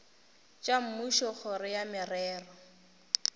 tša mmušo kgoro ya merero